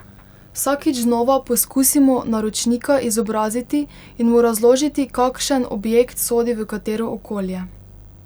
Vsakič znova poskusimo naročnika izobraziti in mu razložiti, kakšen objekt sodi v katero okolje.